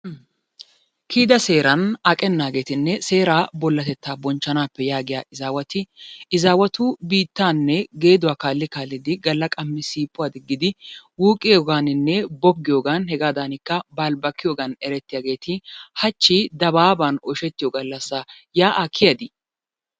Kiyida seeran aqennaagetinne seeraa bollatetaa bonchanaappe yaagiyaa izaawati izaawatu biittaanne geeduwaa kaalli kaallidi galla qammi siiphuwaa digidi wuuqqiyoogaaninne boggiyoogan hegaadanikka balibakkiyogan erettidaageeti hachi dabaaban oyshettiyo gallassa. Yaa'aa kiyadii?